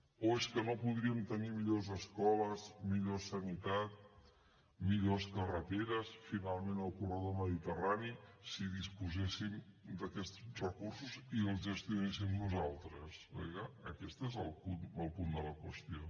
o és que no podríem tenir millors escoles millor sanitat millors carreteres finalment el corredor mediterrani si disposéssim d’aquests recursos i els gestionéssim nosaltres perquè clar aquest és el punt de la qüestió